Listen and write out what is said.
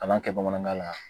Kalan kɛ bamanankan na